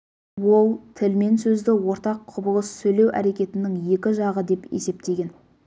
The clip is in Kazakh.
ол тіл мен сөзді ортақ құбылыс сөйлеу әрекетінің екі жағы деп есептеген